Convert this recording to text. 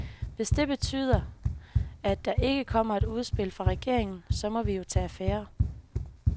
Hvis det betyder, at der ikke kommer et udspil fra regeringen, så må vi jo tage affære.